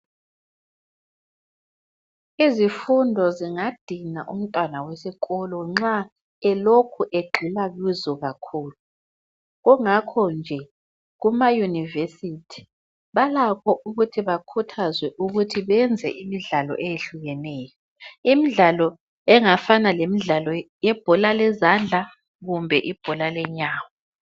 Izifundo zingadinga umntwana wesikolo nxa elokhu egxila kuzo kakhulu. Kungakho nje kumayunivesithi balakho ukuthi bakhuthazwe ukuthi benze imidlalo eyehlukeneyo. Imidlalo engafana lemidlalo yebhola lezandla kumbe ibhola lenyawo.